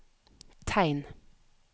tegn